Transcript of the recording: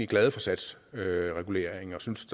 glade for satsreguleringen og synes